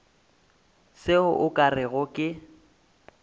se o ka rego ke